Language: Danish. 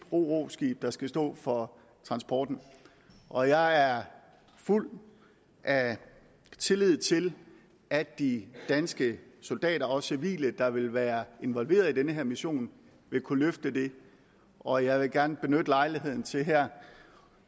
ro ro skib der skal stå for transporten og jeg er fuld af tillid til at de danske soldater og civile der vil være involveret i den her mission vil kunne løfte det og jeg vil gerne benytte lejligheden til her